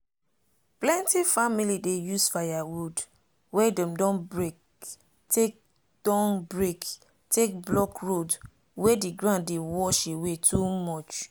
plenty family dey use firewood wey dem don break take don break take block road wey the ground dey wash away too much.